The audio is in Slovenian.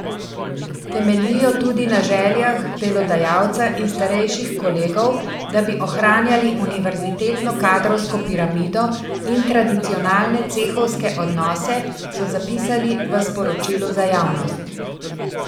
Temeljijo tudi na željah delodajalca in starejših kolegov, da bi ohranjali univerzitetno kadrovsko piramido in tradicionalne cehovske odnose, so zapisali v sporočilu za javnost.